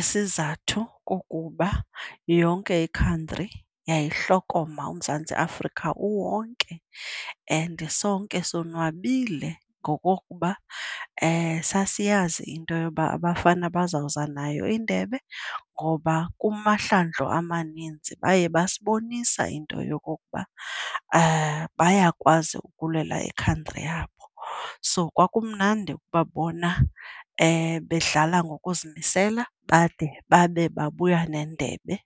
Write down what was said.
Isizathu kukuba yonke ikhantri yayihlokoma, uMzantsi Afrika uwonke, and sonke sonwabile ngokokuba sasiyazi into yoba abafana bazawuza nayo indebe ngoba kumahlandlo amaninzi baye basibonisa into yokokuba bayakwazi ukulwela ikhantri yabo. So kwakumnandi ukubabona bedlala ngokuzimisela bade babe bayabuya nendebe.